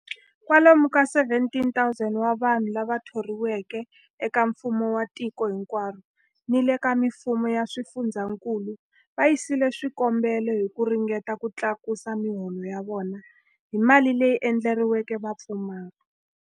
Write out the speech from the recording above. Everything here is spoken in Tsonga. Kwalomu ka 17,000 wa vanhu lava thoriweke eka mfumo wa tiko hinkwaro ni le ka mifumo ya swifundzankulu va yisile swikombelo hi ku ringeta ku tlakusa miholo ya vona hi mali leyi endleriweke vapfumari.